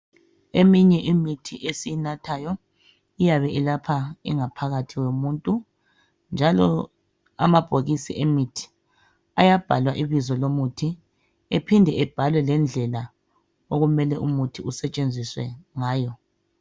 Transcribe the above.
Eminye imithi esiyinathayo iyabe ilapha ingaphakathi yomuntu njalo amabhokisi emithi ayabhalwa ibizo lomuthi ephinde ebhalwe lendlela umuthi okumele usetshenziswe ngayo.